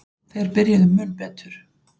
Þeir byrjuðu mun betur.